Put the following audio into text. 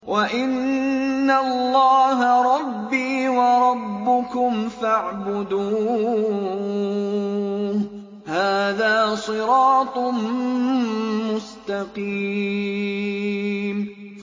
وَإِنَّ اللَّهَ رَبِّي وَرَبُّكُمْ فَاعْبُدُوهُ ۚ هَٰذَا صِرَاطٌ مُّسْتَقِيمٌ